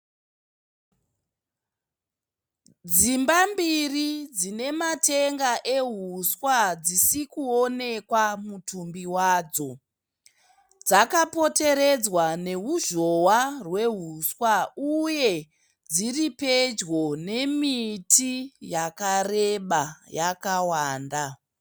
Dzimba mbiri dzine matenga ehuswa dzisi kuwonekwa mutumbi wadzo. Dzakapoteredzwa neruzhowa rwehuswa uye dziri pedyo nemiti yakareba yakawanda.